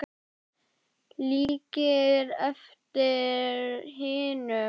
Líkir eftir hinum látna